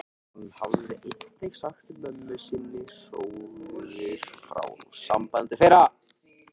Hann hafði einnig sagt mömmu sinni hróðugur frá sambandi þeirra